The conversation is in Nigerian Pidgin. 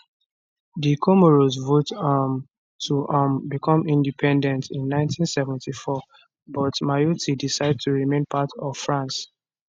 di comoros vote um to um become independent in 1974 but mayotte decide to remain part of france